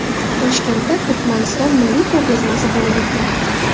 Toshkentda Turkmaniston milliy ko‘rgazmasi bo‘lib o‘tmoqda .